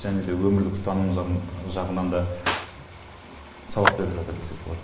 және де өмірлік ұстаным жағынан да сабақ беріп жатыр десек болады